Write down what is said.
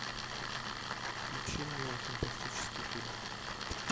включи мне фантастический фильм